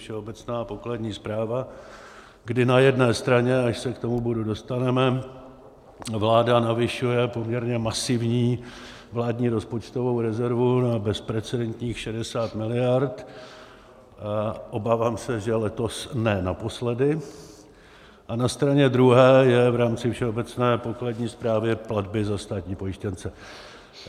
Všeobecná pokladní správa, kdy na jedné straně, až se k tomu bodu dostaneme, vláda navyšuje poměrně masivní vládní rozpočtovou rezervu na bezprecedentních 60 miliard, obávám se, že letos ne naposledy, a na straně druhé je v rámci Všeobecné pokladní správy platby za státní pojištěnce.